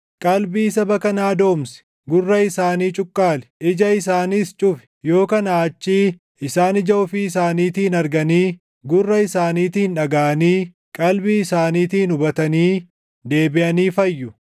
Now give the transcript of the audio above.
Qalbii saba kanaa doomsi; gurra isaanii cuqqaali; ija isaaniis cufi. Yoo kanaa achii isaan ija ofii isaaniitiin arganii gurra isaaniitiin dhagaʼanii qalbii isaaniitiin hubatanii deebiʼanii fayyu.”